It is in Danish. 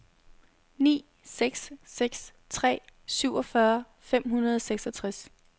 ni seks seks tre syvogfyrre fem hundrede og seksogtres